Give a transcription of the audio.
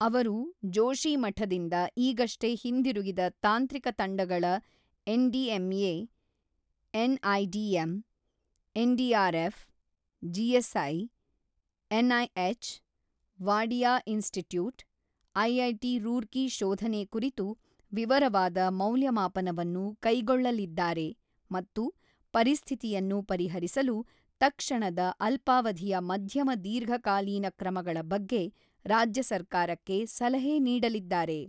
ಅವರು ಜೋಶಿಮಠದಿಂದ ಈಗಷ್ಟೇ ಹಿಂದಿರುಗಿದ ತಾಂತ್ರಿಕ ತಂಡಗಳ NDMA, NIDM, NDRF, GSI, NIH, Wadia institute, IIT Roorkee ಶೋಧನೆ ಕುರಿತು ವಿವರವಾದ ಮೌಲ್ಯಮಾಪನವನ್ನು ಕೈಗೊಳ್ಳಲಿದ್ದಾರೆ ಮತ್ತು ಪರಿಸ್ಥಿತಿಯನ್ನು ಪರಿಹರಿಸಲು ತಕ್ಷಣದ, ಅಲ್ಪಾವಧಿಯ ಮಧ್ಯಮ ದೀರ್ಘಕಾಲೀನ ಕ್ರಮಗಳ ಬಗ್ಗೆ ರಾಜ್ಯ ಸರ್ಕಾರಕ್ಕೆ ಸಲಹೆ ನೀಡಲಿದ್ದಾರೆ.